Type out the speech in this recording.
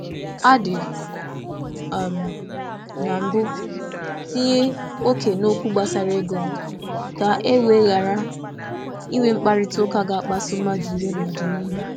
M tìnyere óké n’ego m n’oge mbụ, ka m ghàrà ịbanye n’mkparịta ụka na-adịghị mma n’ọdịnihu.